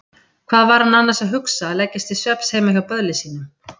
Hvað var hann annars að hugsa að leggjast til svefns heima hjá böðli sínum?